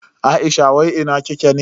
Aisha wai ina kike ne?